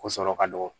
Ko sɔrɔ ka dɔgɔ